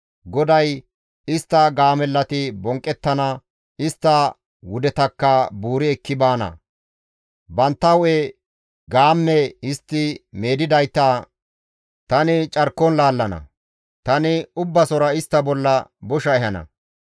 GODAY, «Istta gaamellati bonqqettana; istta wudetakka buuri ekki baana; bantta hu7e gaamme histti meedettidayta tani carkon laallana; tani Ubbasora istta bolla bosha ehana.